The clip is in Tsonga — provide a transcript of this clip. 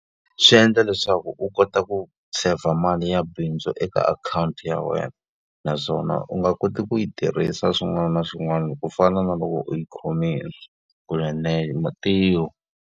Swi endla leswaku u kota ku seyivha mali ya bindzu eka akhawunti ya wena. Naswona u nga koti ku yi tirhisa swin'wana na swin'wana loko u fana na loko u yi khome kunene .